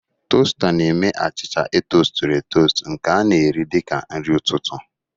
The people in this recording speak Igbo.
Toasta na-eme achịcha etosturu-etostu nke a na-eri dị ka nri ụtụtụ.